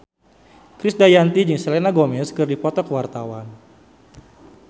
Krisdayanti jeung Selena Gomez keur dipoto ku wartawan